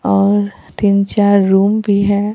और तीन चार रूम भी है।